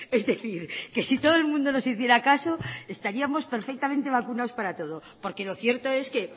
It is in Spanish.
es decir que si todo el mundo nos hiciera caso estaríamos perfectamente vacunados para todo porque lo cierto es que